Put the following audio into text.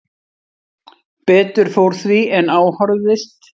Betur fór því en á horfðist